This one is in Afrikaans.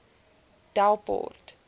delport